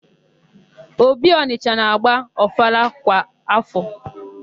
Obi Ọnịsha na-agba ọfala kwa áfọ.